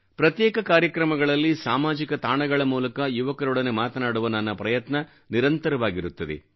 ಪ್ರತ್ಯೇಕ ಕಾರ್ಯಕ್ರಮಗಳಲ್ಲಿ ಸಾಮಾಜಿಕ ತಾಣಗಳ ಮೂಲಕ ಯುವಕರೊಡನೆ ಮಾತನಾಡುವ ನನ್ನ ಪ್ರಯತ್ನ ನಿರಂತರವಾಗಿರುತ್ತದೆ